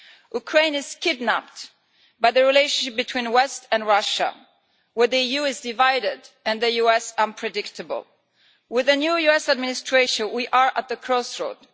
Ukraine is a hostage to the relationship between the West and Russia, with the EU divided and the US unpredictable. With the new US administration, we are at the crossroads.